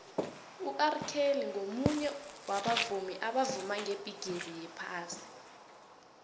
urkelly ngumunye wabavumi abavuma ngebhigixi yephasi